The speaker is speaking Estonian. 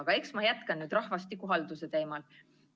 Aga ma jätkan nüüd rahvastikuhalduse teemal.